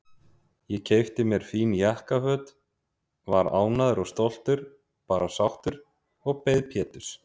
Ég keypti mér fín jakkaföt, var ánægður og stoltur, bara sáttur, og beið Péturs.